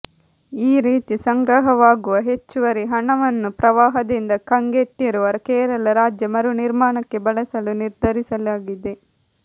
ಈ ರೀತಿ ಸಂಗ್ರಹವಾಗುವ ಹೆಚ್ಚುವರಿ ಹಣವನ್ನು ಪ್ರವಾಹದಿಂದ ಕಂಗೆಟ್ಟಿರುವ ಕೇರಳ ರಾಜ್ಯ ಮರು ನಿರ್ಮಾಣಕ್ಕೆ ಬಳಸಲು ನಿರ್ಧರಿಸಲಾಗಿದೆ